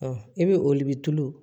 Ɔ i bɛ olu bɛ tulu